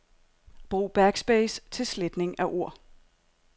Brug backspace til sletning af ord.